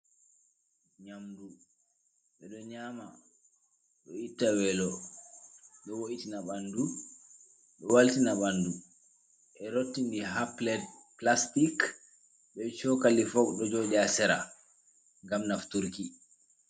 Nyamdu. Ɓe ɗo nyaama ɗo itta weelo, ɗo woitina ɓandu, ɗo waltina ɓandu. Ɓe rotti ndi haa pilet pilastik, be cokali fok ɗo joɗi haa sera ngam nafturki.